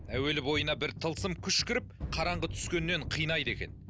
әуелі бойына бір тылсым күш кіріп қараңғы түскеннен қинайды екен